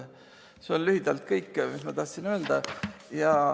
See on lühidalt kõik, mis ma tahtsin öelda.